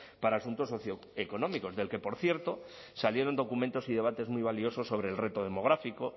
para asuntos socioeconómicos del que por cierto salieron documentos y debates muy valiosos sobre el reto demográfico